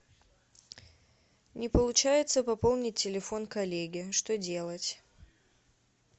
не получается пополнить телефон коллеги что делать